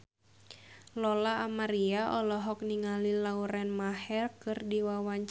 Lola Amaria olohok ningali Lauren Maher keur diwawancara